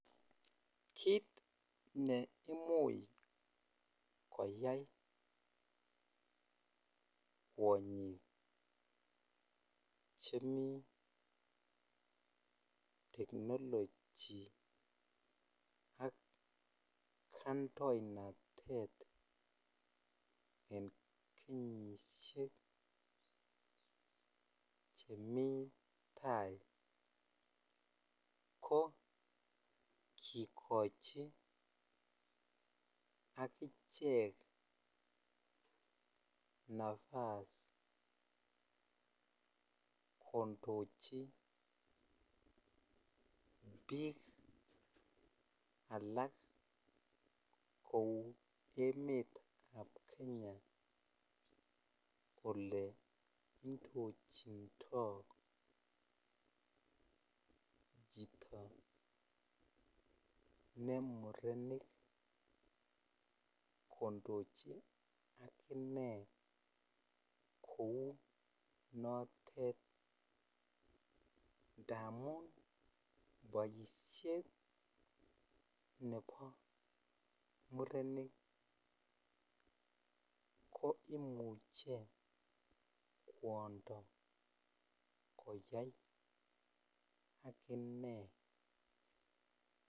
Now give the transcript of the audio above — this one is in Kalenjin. Kit ne imuch koyai kwinyik chemi technology ak kaindoinatet en kenyishek chemi tai ko kikochi akichek nafas kondochi biik alak kou emetab Kenya ole indochindoi chito ne nurenik kondochin ak inai kou notet indamun boishet nebo murenik ko imuche kwondo koyai ak inei.